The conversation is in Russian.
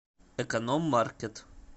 эконом маркет